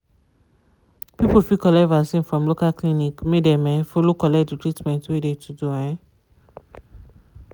people fit collect vaccin from local clinic make dem um follow collect de treatment wey de to do. um